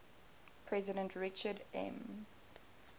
president richard m